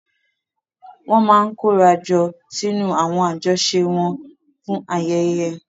Wọ́n máa ń kóra jọ sínú àwọn àjọṣe wọn fún ayẹyẹ.